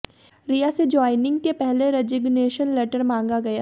रिया से ज्वाइनिंग के पहले रेजिगनेशन लेटर मांगा गया